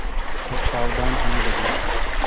सब सावधान होने लगे